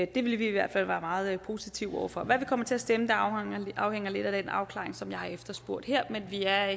det vil vi i hvert fald være meget positive over for hvad vi kommer til at stemme afhænger lidt af den afklaring som jeg har efterspurgt her men vi er